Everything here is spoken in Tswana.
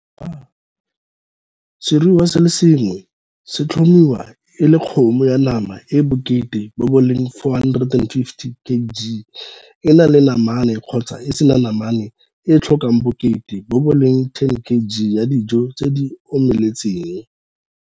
Seruiwa se le sengwe se tlhomiwa e le kgomo ya nama e e bokete bo bo leng 450 kg e na le namane kgotsa e se na namane e e tlhokang bokete bo bo leng 10 kg ya dijo tse di omeletseng.